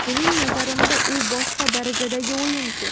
Mening nazarimda, u boshqa darajadagi o‘yinchi.